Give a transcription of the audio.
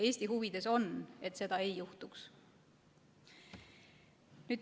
Eesti huvides on, et seda ei juhtuks.